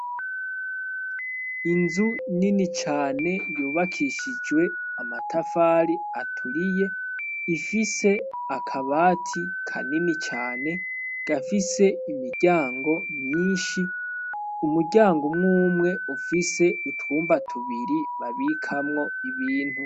Inzu inini cane yubakishijwe amatafari aturiye ifise akabati ka nini cane gafise imiryango myinshi umuryango umwumwe ufise utwumba tubiri babikamwo ibintu.